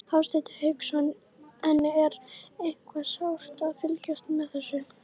Hafsteinn Hauksson: En er eitthvað sárt að fylgjast með þessu?